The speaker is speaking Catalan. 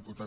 molt